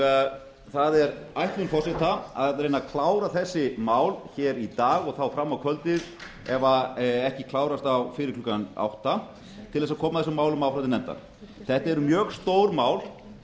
deilum það er ætlun forseta að reyna að klára þessi mál hér í dag og þá fram á kvöldið ef ekki klárast fyrir klukkan átta til þess að koma þessum málum áfram til nefndar þetta eru mjög stór mál